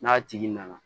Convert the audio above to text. N'a tigi nana